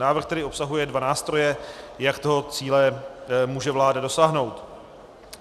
Návrh tedy obsahuje dva nástroje, jak toho cíle může vláda dosáhnout.